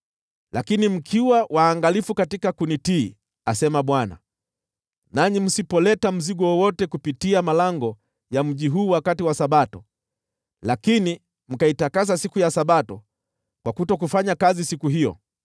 Lakini mkiwa waangalifu kunitii, asema Bwana , nanyi msipoleta mzigo wowote kupitia malango ya mji huu wakati wa Sabato, lakini mkaitakasa siku ya Sabato kwa kutofanya kazi siku hiyo,